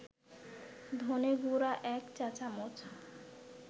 ধনেগুঁড়া ১ চা-চামচ